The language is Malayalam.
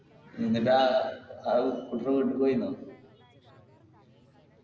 എന്നിട്ടാ